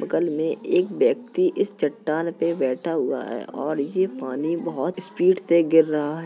बगल में एक व्यक्ति इस चट्टान पर बैठा हुआ है और ये पानी बहुत स्पीड से गिर रहा है।